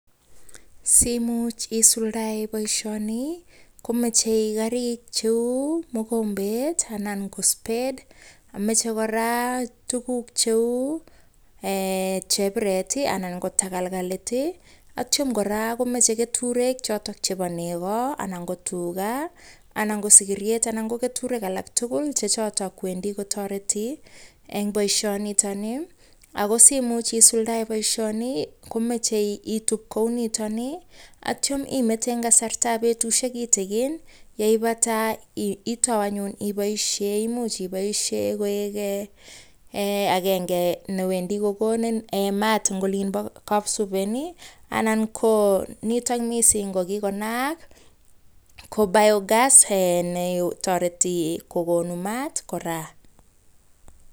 Simuch isuldae boishoni, komachei karik cheu, mogombet anan ko spade . Machei kora tukuk cheu chepiret, ak tagalgalit, etio kora konachei keturek chebo nego, ngi tuga, anan ko sigiryet. Ko keturek alak rugul che chotok wendi kotoreti eng boishonitokni. Ako simuch isuldae boishoni, komachei itup kounitokni atio imete eng kasartab betushek kitigin, neipata itau anyu aboishe. Imuch iboishe koek agenge newendi kokonin mat eng olinbo kapsuben anan ko nitokni mising ko kikonaak ko biogass netoreti kokon mat kora.